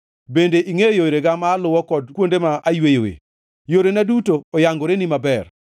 Bende ingʼeyo yorega ma aluwo kod kuonde ma ayweyoe; yorena duto oyangoreni maber.